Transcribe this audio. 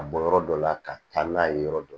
Ka bɔ yɔrɔ dɔ la ka taa n'a ye yɔrɔ dɔ